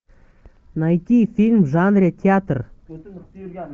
найти фильм в жанре театр